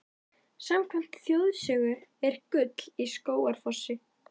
Samkvæmt þjóðsögu er gull í Skógafossi.